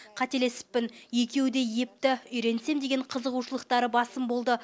қателесіппін екеуі де епті үйренсем деген қызығушылықтары басым болды